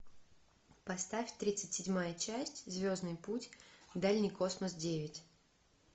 поставь тридцать седьмая часть звездный путь дальний космос девять